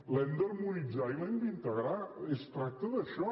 l’hem d’harmonitzar i l’hem d’integrar es tracta d’això